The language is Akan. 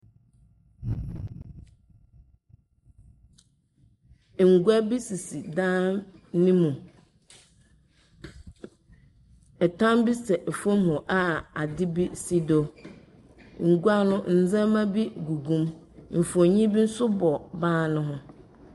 Ngua bi sisi dan no mu. Ɛtam bi sɛ fam a adze bi si do. Ngua no ndzɛmba bi gugu mu. Mfonin bi nso bɔ ban no ho.